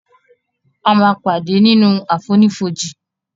a má pàdé nínú àfonífojì